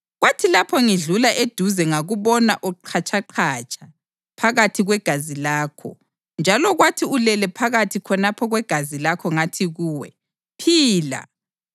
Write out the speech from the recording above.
Kwathi lapho ngidlula eduze ngakubona uqhatshaqhatsha phakathi kwegazi lakho, njalo kwathi ulele phakathi khonapho kwegazi lakho ngathi kuwe, “Phila!”